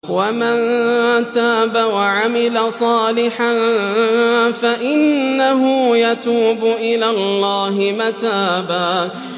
وَمَن تَابَ وَعَمِلَ صَالِحًا فَإِنَّهُ يَتُوبُ إِلَى اللَّهِ مَتَابًا